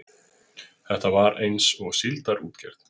Þetta var eins og síldarútgerð.